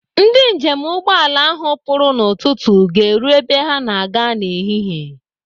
Ndị njem ụgbọala ahụ pụrụ n'ụtụtụ ga-eru ebe ha na-aga n'ehihie.